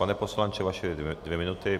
Pane poslanče, vaše dvě minuty.